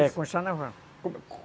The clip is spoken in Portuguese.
É, construção naval.